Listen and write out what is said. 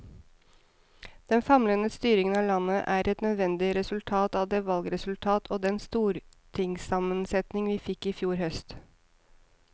Den famlende styringen av landet er et nødvendig resultat av det valgresultat og den stortingssammensetning vi fikk i fjor høst.